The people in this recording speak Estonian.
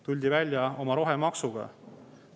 Tuldi välja oma rohemaksuga.